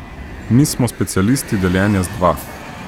Mi smo specialisti deljenja z dva.